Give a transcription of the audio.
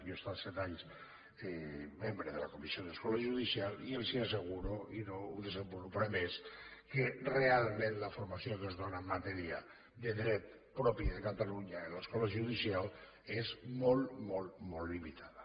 jo he estat set anys membre de la comissió de l’escola judicial i els asseguro i no ho desenvoluparé més que realment la formació que es dóna en matèria de dret propi de catalunya en l’escola judicial és molt molt molt limitada